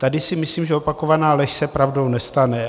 Tady si myslím, že opakovaná lež se pravdou nestane.